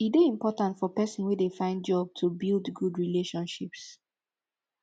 e de important for persin wey de find job to build good relationships